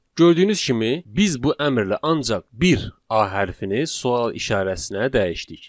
Gördüyünüz kimi, biz bu əmrlə ancaq bir A hərfini sual işarəsinə dəyişdik.